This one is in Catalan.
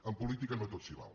en política no tot s’hi val